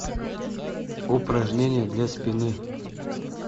упражнение для спины